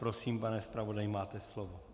Prosím, pane zpravodaji, máte slovo.